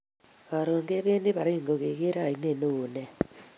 Karun ke bendi Baringo keker ainet newon nea